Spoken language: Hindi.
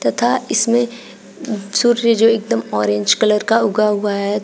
तथा इसमें सूर्य जो एकदम ऑरेंज कलर का उगा हुआ है।